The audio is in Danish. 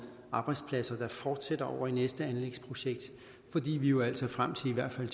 arbejdspladser der fortsætter over i næste anlægsprojekt fordi vi jo altså frem til i hvert fald